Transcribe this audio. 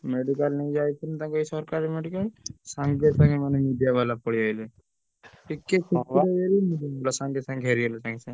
Medical ନେଇଯାଇଥିଲେ ସରକାର medical ସାଙ୍ଗେ ସାଙ୍ଗେ media ବାଲା ପଳେଇଆସିଲେ